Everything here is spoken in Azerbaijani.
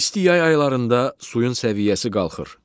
İsti yay aylarında suyun səviyyəsi qalxır.